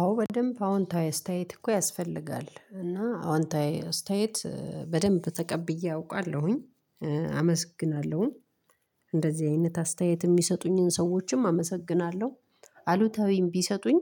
አዎ በደንብ አዎንታዊ አስተያየት እኮ ያስፈልጋል እና አዎንታዊ አስተያየት በደንብ ተቀብዬ አውቃለሁኝ አመሰግናለሁኝ እንደዚህ አይነት አስተያየት የሚሰጡኝን ሰዎችም አመሰግናለሁ። አሉታዊይም ቢሰጡኝ።